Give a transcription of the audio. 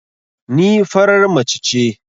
Ni farar mace ce